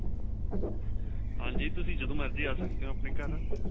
ਹਾਂਜੀ ਤੁਸੀਂ ਜਦੋਂ ਮਰਜੀ ਆਂ ਸਕਦੇ ਹੋ ਆਪਣੇ ਘਰ